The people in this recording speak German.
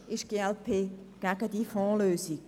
Sonst ist die glp gegen eine Fondslösung.